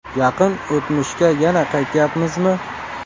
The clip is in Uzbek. Yaqin o‘tmishga yana qaytyapmizmi?